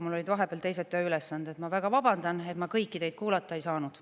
Mul olid vahepeal teised tööülesanded ja ma väga vabandan, et ma kõiki teid kuulata ei saanud.